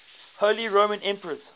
holy roman emperors